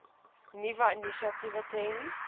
nuwe initiatiewe ten